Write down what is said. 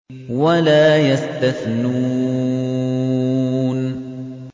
وَلَا يَسْتَثْنُونَ